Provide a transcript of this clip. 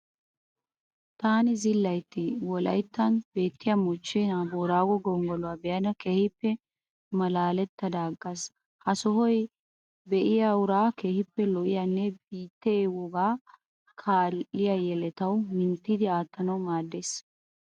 Taani zilaytti wolayttan beettiya moochche na'aa boorago gonggoluwa be'ada keehippe malaalettada aggaas. Ha sohoy be'iya uraa keehippe lo'iyanne biittee wogaa kaalliya yeletawu minttidi aattanawu maaddees.